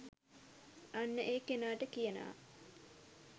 අන්න ඒ කෙනාට කියනවා